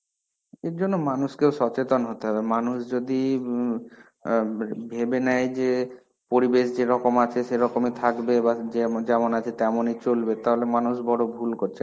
এর জন্যে মানুষকেও সচেতন হতে হবে. মানুষ যদি ইম আ ভেবে নেয় যে পরিবেশ যেরকম আছে সেইরকমই থাকবে বা যে যেমন আছে তেমনই চলবে তাহলে মানুষ বড় ভুল করছে.